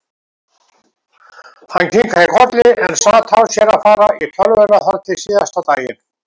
Hann kinkaði kolli en sat á sér að fara í tölvuna þar til síðasta daginn.